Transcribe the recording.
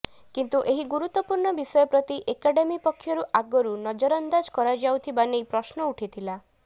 କିନ୍ତୁ ଏହି ଗୁରୁତ୍ୱପୂଣ୍ଣ ବିଷୟ ପ୍ରତି ଏକାଡେମି ପକ୍ଷରୁ ଆଗରୁ ନଜରଅନ୍ଦାଜ କରାଯାଉଥିବା ନେଇ ପ୍ରଶ୍ନ ଉଠିଥିଲା